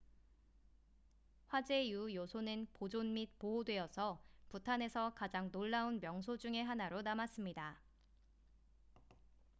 화재 이후 요새는 보존 및 보호되어서 부탄에서 가장 놀라운 명소 중의 하나로 남았습니다